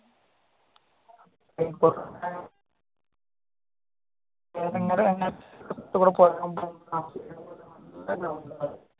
പൊറത്തുകൂടെ പോവുമ്പം